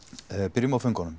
byrjum á föngunum